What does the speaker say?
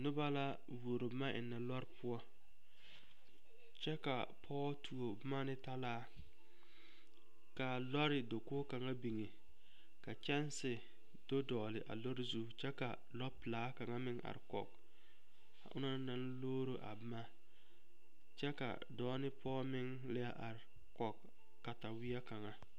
Noba la tuoro boma ennɛ lɔɔre poɔ kyɛ ka pɔge tuo boma ne talaa ka lɔɔre dakogo kaŋa biŋ ka kyɛnse do dɔgle a lɔɔre zu kyɛ ka lɔpelaa a kaŋa meŋ are kɔge o na naŋ loori a boma kyɛ ka dɔɔ ne pɔge meŋ leɛ are kɔge kataweɛ kaŋa.